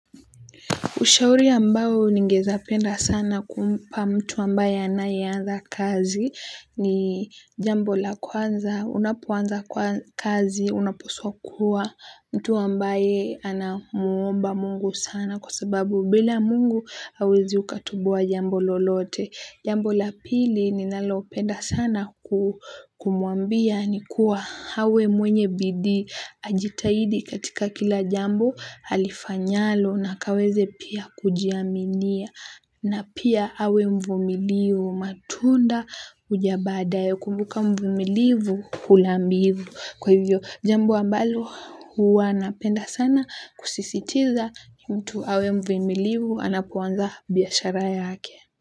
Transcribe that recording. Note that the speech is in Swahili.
Ushauri ambao ningezapenda sana kumpa mtu ambaye anayeanza kazi ni jambo la kwanza, unapoanza kazi, unapaswa kua mtu ambaye anamuomba mungu sana kwa sababu bila mungu hauwezi ukatoboa jambo lolote. Jambo la pili ninalopenda sana kumuambia ni kuwa awe mwenye bidii ajitahidi katika kila jambo halifanyalo na akaweze pia kujiaminia. Na pia awe mvumilivu matunda huja baadaye kumbuka mvumilivu hula mbivu. Kwa hivyo jambo ambalo huwa napenda sana kusisitiza mtu awe mvumilivu anapoanza biashara yake.